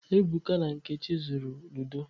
Ebuka na Nkechi zuru ludo.